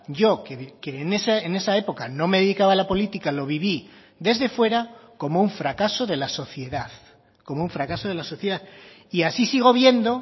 yo que en esa época no me dedicaba a la política lo viví desde fuera como un fracaso de la sociedad como un fracaso de la sociedad y así sigo viendo